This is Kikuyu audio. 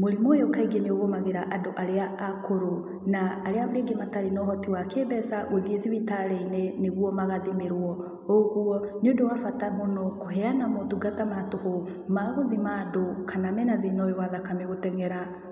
Mũrimũ ũyũ kaingĩ nĩ ũgũmagĩra andũ arĩa akũrũ na arĩa rĩngĩ matarĩ na ũhoti wa kĩ-mbeca wa gũthiĩ thibitarĩ-inĩ nĩguo magathimĩrwo, ũguo nĩ ũndũ wa bata mũno kũheana motungata ma tũhũ, ma gũthima andũ kana mena thĩna ũyũ wa thakame gũteng'era.